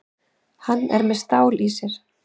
Hann er með stál í sér.